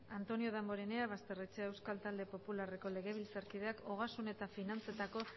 antonio damborenea basterrechea euskal talde popularreko legebiltzarkideak ogasun eta finantzetako